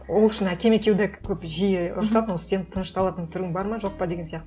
ол үшін әкем екеуі де көп жиі ұрысатын осы сен тынышталатын түрің бар ма жоқ па деген сияқты